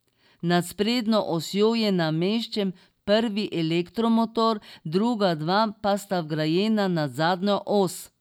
Nad sprednjo osjo je nameščen prvi elektromotor, druga dva pa sta vgrajena nad zadnjo os.